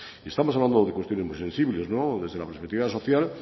estamos hablando de cuestiones muy sensibles desde la perspectiva social